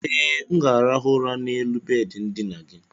e, m ga-arahụ ụra n'elu bedị ndina gị.